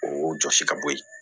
O jɔsi ka bɔ yen